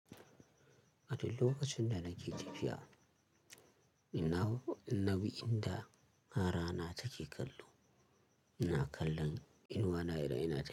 A duk lokacin da nake tafiya, ina inna bi inda a rana take kallo. Ina kallon inuwana idan ina tafiya.